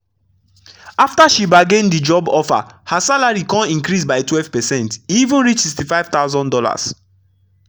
afta she bargain d job offer her salary kon increase by 12 percent e even reach $65000